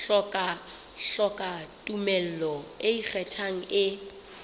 hloka tumello e ikgethang e